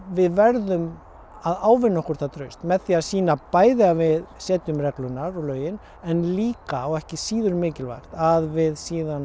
við verðum að ávinna okkur það traust með því að sýna bæði að við setjum reglurnar og lögin en líka og ekki síður mikilvægt að við